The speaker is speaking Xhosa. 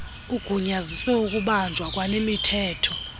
ugunyazisa ukubanjwa kwanemithetho